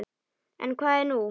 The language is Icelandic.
En hvað er nú?